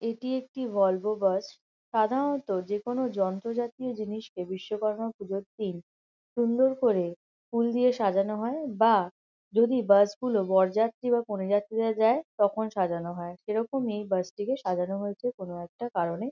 এটি একটি Volvo bus . সাধারণত যে কোনো যন্ত্র জাতীয় জিনিসকে বিশ্বকর্মা পুজোর দিন সুন্দর করে ফুল দিয়ে সাজানো হয় বা যদি বাস -গুলো বরযাত্রী বা কন্যাযাত্রীরা যায় তখন সাজানো হয়। সেরকমই এই বাস -টিকে সাজানো হয়েছে কোনো একটা কারণে।